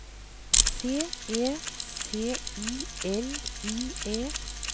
C E C I L I E